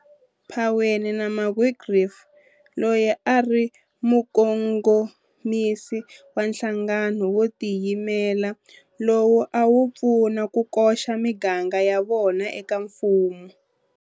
Phaweni na Marc Wegerif loyi a a ri mukongomisi wa nhlangano wo ti yimela lowu a wu pfuna ku koxa miganga ya vona eka mfumo.